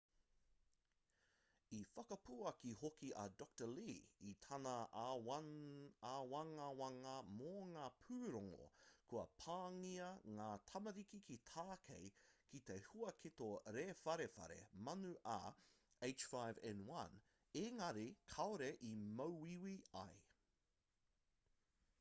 i whakapuaki hoki a dr. lee i tana āwangawanga mō ngā pūrongo kua pāngia ngā tamariki ki tākei ki te huaketo rewharewha manu ah5n1 engari kāore i māuiui ai